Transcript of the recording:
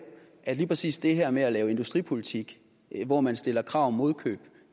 at lige præcis det her med at lave industripolitik hvor man stiller krav om modkøb